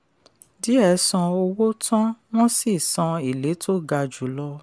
diẹ̀ san owó tán wọ́n sì san èlé to ga jùlọ.